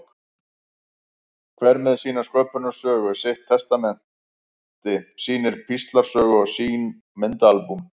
Hver með sína sköpunarsögu, sitt testamenti, sína píslarsögu og sín myndaalbúm.